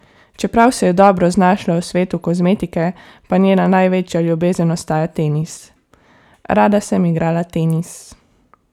Čeprav se je dobro znašla v svetu kozmetike, pa njena največja ljubezen ostaja tenis: 'Rada sem igrala tenis.